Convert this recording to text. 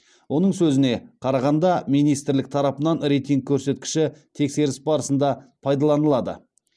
оның сөзіне қарағанда министрлік тарапынан рейтинг көрсеткіші тексеріс барысында пайдаланылады